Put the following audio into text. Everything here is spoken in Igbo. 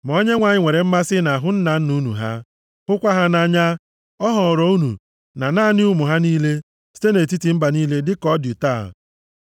Ma Onyenwe anyị nwere mmasị nʼahụ nna nna unu ha, hụkwa ha nʼanya, ọ họrọ unu, na naanị ụmụ ha niile, site nʼetiti mba niile dịka ọ dị taa.